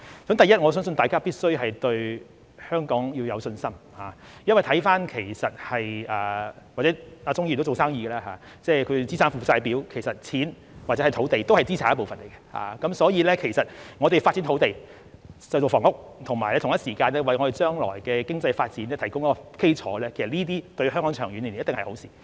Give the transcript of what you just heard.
第一，我相信大家必須對香港有信心，鍾議員也是做生意的，在資產負債表上、錢或土地也屬資產一部分，所以我們發展土地興建房屋，以及同一時間為將來的經濟發展提供基礎，這些長遠而言對香港一定是好事。